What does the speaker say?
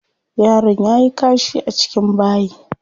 Yaron yayi kashi a cikin bayi.